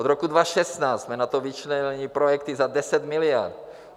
Od roku 2016 jsme na to vyčlenili projekty za 10 miliard.